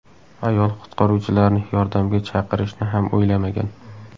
Ayol qutqaruvchilarni yordamga chaqirishni ham o‘ylamagan.